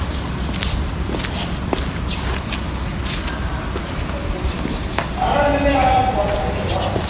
പിന്നെ നാളെ ഉണ്ടെങ്കിൽ നാളെ പോകണ്ട അല്ലയോ, പോണോ?